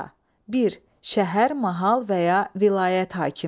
Darğa, bir şəhər, mahal və ya vilayət hakimi.